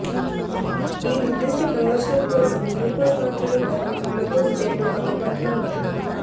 ఈ నిర్దిష్ట ప్రయోజనం కోసం గ్లూకోజ్ మాత్రలు మరియు గ్లూకోజ్ జెల్లు అందుబాటులో ఉన్నాయి